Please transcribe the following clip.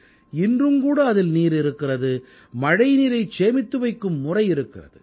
இன்றும்கூட அதில் நீர் இருக்கிறது மழைநீரைச் சேமித்து வைக்கும் முறை இருக்கிறது